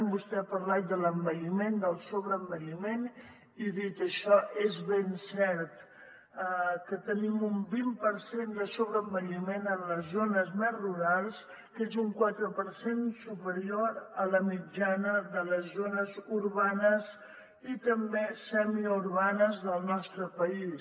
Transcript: vostè ha parlat de l’envelliment del sobreenvelliment i dit això és ben cert que tenim un vint per cent de sobreenvelliment en les zones més rurals que és un quatre per cent superior a la mitjana de les zones urbanes i també semiurbanes del nostre país